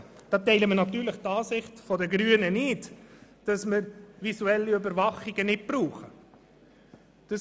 Hier teilen wir natürlich die Ansicht der Grünen nicht, wonach visuelle Überwachungen nicht nötig sind.